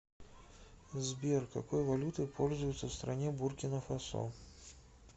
сбер какой валютой пользуются в стране буркина фасо